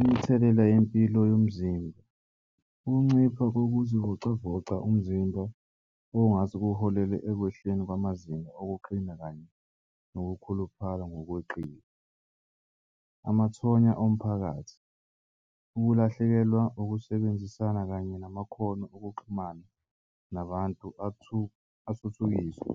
Imithelela yempilo yomzimba kuncipha kokuzivocavoca umzimba okungase kuholele ekwehleni kwamazinga okuqina kanye nokukhuluphala ngokweqile. Amathonya omphakathi ukulahlekelwa ukusebenzisana kanye namakhono okuxhumana nabantu athuthukiswe